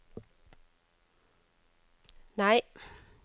nei